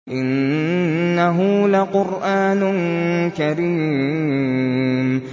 إِنَّهُ لَقُرْآنٌ كَرِيمٌ